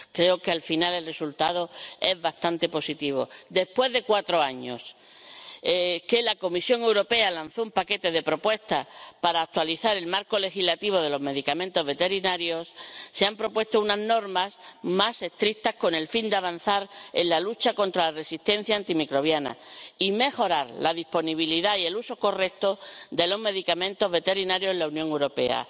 Creo que al final el resultado es bastante positivo. Después de cuatro años del lanzamiento por parte de la Comisión Europea de un paquete de propuestas para actualizar el marco legislativo de los medicamentos veterinarios, se han propuesto unas normas más estrictas con el fin de avanzar en la lucha contra la resistencia antimicrobiana y mejorar la disponibilidad y el uso correcto de los medicamentos veterinarios en la Unión Europea.